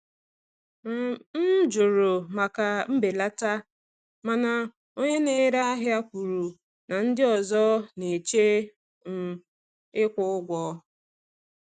um M jụrụ maka mbelata, mana onye na-ere ahịa kwuru na ndị ọzọ na-eche um ịkwụ ụgwọ.